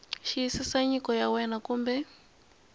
xiyisisa nyiko ya wena kumbe